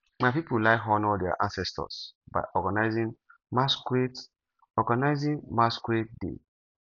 my people like honour their ancestors by organizing masquerade organizing masquerade day